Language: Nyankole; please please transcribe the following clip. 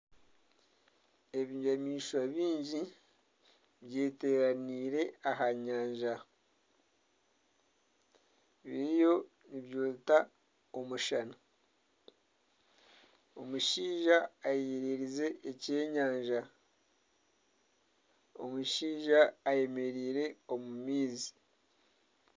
Ebinyamaishwa byingi byeteranire aha nyanja biriyo nibyota omushana, omushaija ayarerize ekyenyanja omushaija ayemereire omu maizi.